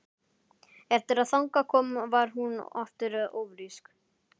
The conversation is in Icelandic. Eftir að þangað kom varð hún aftur ófrísk.